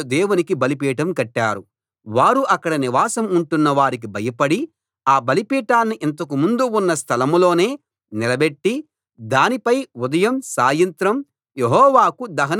వారు అక్కడ నివాసం ఉంటున్న వారికి భయపడి ఆ బలిపీఠాన్ని ఇంతకు ముందు ఉన్న స్థలం లోనే నిలబెట్టి దానిపై ఉదయం సాయంత్రం యెహోవాకు దహనబలులు అర్పిస్తూ వచ్చారు